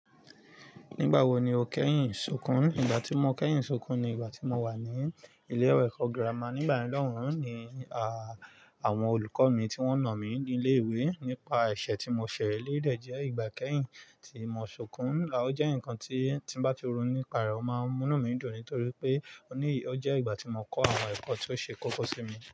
Nígbà wo ni o kẹ́yìn sunkún? Ìgbà tí mo kẹ́yìn sunkún ni ìgbà tí mo wà ní ilé ẹ̀kọ́ gírámà nígbà mìíràn ni àwon olùkọ́ mi tí wọ́n nà mí ní ilé ìwé nípa ẹ̀ṣẹ̀ tí mo ṣẹ̀ lé lẹ̀ jẹ́ ìgbà kẹ́yìn tí mo sunkún. Laó jẹ́ ǹkan tí bá ti run nípa rẹ̀ ó máa ń mú námídùn nítorí pé ó jẹ́ ìgbà tí mo kọ́ àwọn ẹ̀kọ́ tó ṣe kókó sí mi.